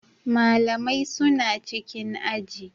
Malamai suna cikin aji.